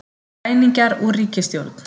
Græningjar úr ríkisstjórn